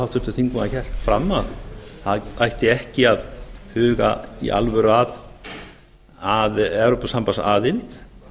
háttvirtur þingmaður hélt fram að það ætti ekki að huga í alvöru að evrópusambandsaðild